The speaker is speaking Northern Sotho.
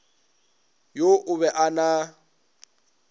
yo o be a na